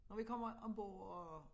Når vi kommer ombord og